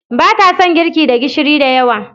Ba ta son girki da gishiri da yawa.